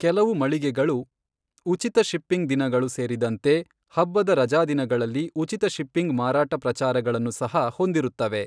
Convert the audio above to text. ಕೆಲವು ಮಳಿಗೆಗಳು ಉಚಿತ ಶಿಪ್ಪಿಂಗ್ ದಿನಗಳು ಸೇರಿದಂತೆ ಹಬ್ಬದ ರಜಾದಿನಗಳಲ್ಲಿ ಉಚಿತ ಶಿಪ್ಪಿಂಗ್ ಮಾರಾಟ ಪ್ರಚಾರಗಳನ್ನು ಸಹ ಹೊಂದಿರುತ್ತವೆ.